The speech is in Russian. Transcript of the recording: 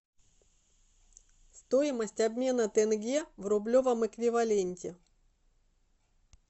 стоимость обмена тенге в рублевом эквиваленте